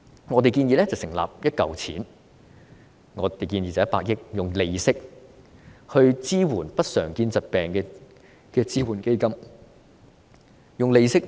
我們建議成立一項100億元的支援基金，用利息支援不常見疾病的醫療費用。